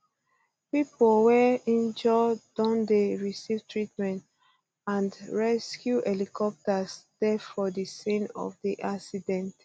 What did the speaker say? um pipo wey um injure don dey receive treatment and rescue helicopters dey for di scene of di accident